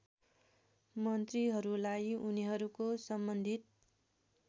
मन्त्रीहरूलाई उनीहरूको सम्बन्धित